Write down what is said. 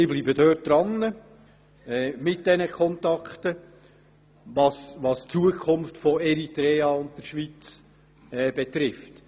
Ich bleibe dran mit diesen Kontakten, was die Zukunft von Eritrea und der Schweiz betrifft.